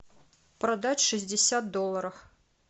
продать шестьдесят долларов